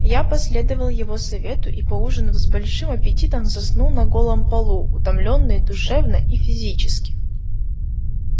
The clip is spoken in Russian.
я последовал его совету и поужинав с большим аппетитом заснул на голом полу утомлённый душевно и физически